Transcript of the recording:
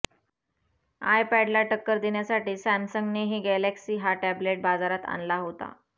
आयपॅडला टक्कर देण्यासाठी सॅमसंगनेही गॅलेक्सी हा टॅबलेट बाजारात आणला होता